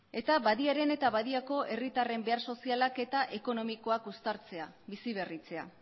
eta badiaren eta badiako herritarren behar sozialak eta ekonomikoak uztartzea biziberritzea